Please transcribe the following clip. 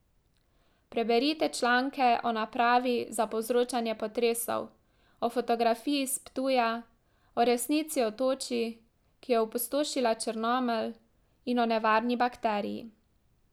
Preberite članke o napravi za povzročanje potresov, o fotografiji s Ptuja, o resnici o toči, ki je opustošila Črnomelj, in o nevarni bakteriji.